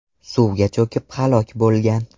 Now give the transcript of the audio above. suvga cho‘kib halok bo‘lgan.